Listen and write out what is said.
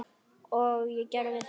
Og ég gerði það.